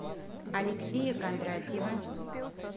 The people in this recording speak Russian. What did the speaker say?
алексея кондратьева